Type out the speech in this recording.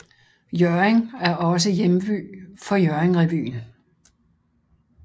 Hjørring er også hjemby for Hjørring revyen